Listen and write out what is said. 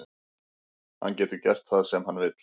Hann getur gert það sem hann vill.